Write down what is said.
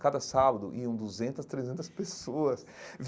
Cada sábado, iam duzentas, trezentas pessoas.